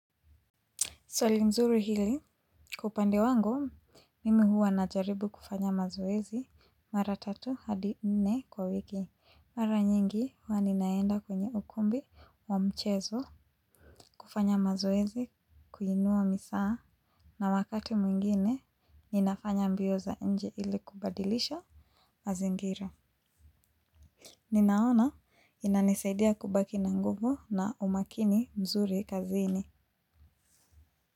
Swali mzuri hili, kwa upande wangu, mimi huwa najaribu kufanya mazoezi mara tatu hadi nne kwa wiki. Mara nyingi huwa ninaenda kwenye ukumbi wa mchezo kufanya mazoezi, kuinua misaa na wakati mwingine, ninafanya mbio za nje ili kubadilisho mazingira. Ninaona inanisaidia kubaki na nguvu na umakini mzuri kazini.